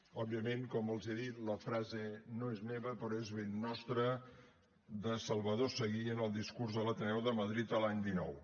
òbviament com els he dit la frase no és meva però és ben nostra de salvador seguí en el discurs de l’ateneu de madrid l’any dinou